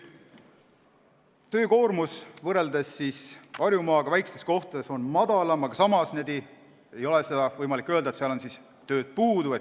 Töökoormus on võrreldes Harjumaaga väikestes kohtades madalam, aga samas ei ole võimalik öelda, et seal oleks tööd puudu.